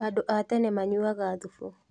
Andũ a tene maanyuaga thubu